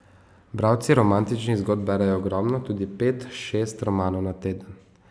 Bralci romantičnih zgodb berejo ogromno, tudi po pet, šest romanov na teden.